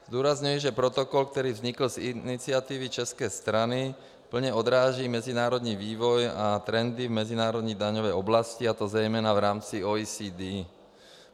Zdůrazňuji, že protokol, který vznikl z iniciativy české strany, plně odráží mezinárodní vývoj a trendy v mezinárodní daňové oblasti, a to zejména v rámci OECD.